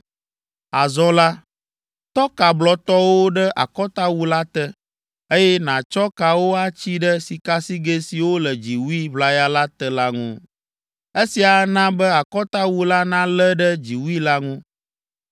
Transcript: Azɔ la, tɔ ka blɔtɔwo ɖe akɔtawu la te, eye nàtsɔ kawo atsi ɖe sikasigɛ siwo le dziwui ʋlaya la te la ŋu. Esia ana be akɔtawu la nalé ɖe dziwui la ŋu.